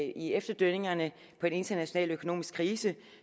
efterdønningerne af den internationale økonomiske krise